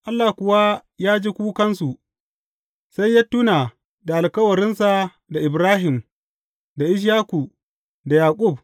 Allah kuwa ya ji kukansu sai ya tuna da alkawarinsa da Ibrahim da Ishaku da Yaƙub.